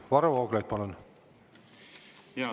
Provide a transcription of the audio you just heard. Varro Vooglaid, palun!